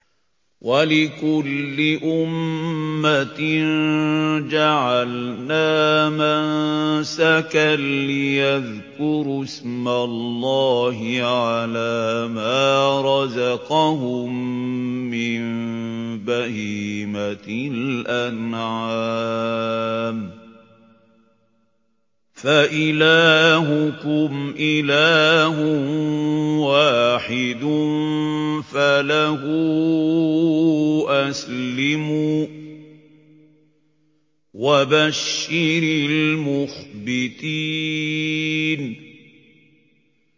وَلِكُلِّ أُمَّةٍ جَعَلْنَا مَنسَكًا لِّيَذْكُرُوا اسْمَ اللَّهِ عَلَىٰ مَا رَزَقَهُم مِّن بَهِيمَةِ الْأَنْعَامِ ۗ فَإِلَٰهُكُمْ إِلَٰهٌ وَاحِدٌ فَلَهُ أَسْلِمُوا ۗ وَبَشِّرِ الْمُخْبِتِينَ